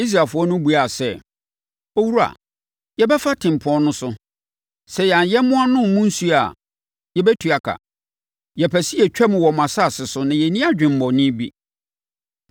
Israelfoɔ no buaa sɛ, “Owura, yɛbɛfa tempɔn no so. Sɛ yɛn ayɛmmoa nom mo nsuo a, yɛbɛtua ka. Yɛpɛ sɛ yɛtwam wɔ mo asase so na yɛnni adwemmɔne bi.”